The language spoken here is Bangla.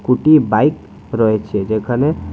দুটি বাইক রয়েছে যেখানে--